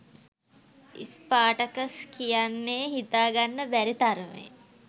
Spartacus කියන්නේ හිතා ගන්න බැරි තරමේ